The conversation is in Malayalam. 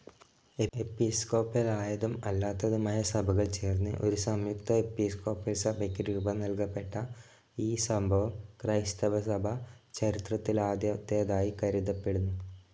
എപിസ്കോപലായതും അല്ലാത്തതുമായ സഭകൾ ചേർന്ന് ഒരു സംയുക്ത എപ്പിസ്കോപ്പൽ സഭയ്ക്കു രൂപം നൽകപ്പെട്ട ഈ സംഭവം ക്രൈസ്‌തവസഭ ചരിത്രത്തിലാദ്യത്തേതായി കരുതപ്പെടുന്നു.